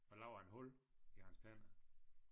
Fået lavet en hul i hans tænder